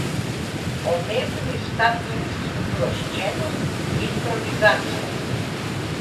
Pomembni sta tudi sproščenost, improvizacija.